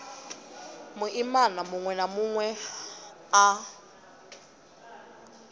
muimana munwe na munwe a